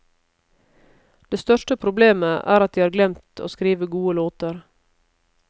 Det største problemet er at de har glemt å skrive gode låter.